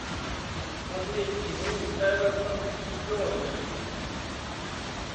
смотреть игру эвертон и бернли